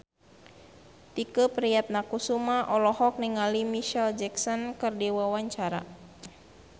Tike Priatnakusuma olohok ningali Micheal Jackson keur diwawancara